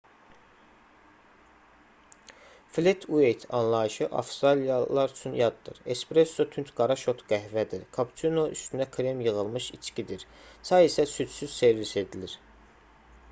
"flet ueyt anlayışı avstraliyalılar üçün yaddır. espresso tünd qara şot qəhvədir kapuçino üstünə krem yığılmış içkidir köpüklü deyil çay isə südsüz servis edilir